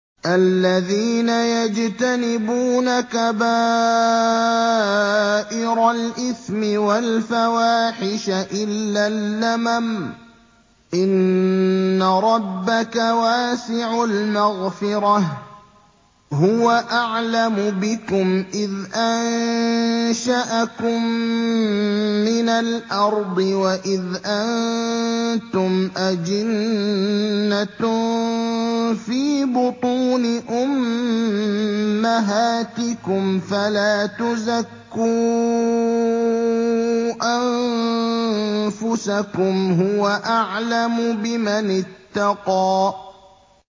الَّذِينَ يَجْتَنِبُونَ كَبَائِرَ الْإِثْمِ وَالْفَوَاحِشَ إِلَّا اللَّمَمَ ۚ إِنَّ رَبَّكَ وَاسِعُ الْمَغْفِرَةِ ۚ هُوَ أَعْلَمُ بِكُمْ إِذْ أَنشَأَكُم مِّنَ الْأَرْضِ وَإِذْ أَنتُمْ أَجِنَّةٌ فِي بُطُونِ أُمَّهَاتِكُمْ ۖ فَلَا تُزَكُّوا أَنفُسَكُمْ ۖ هُوَ أَعْلَمُ بِمَنِ اتَّقَىٰ